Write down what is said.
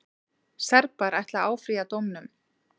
Serbar ætla að áfrýja dómnum.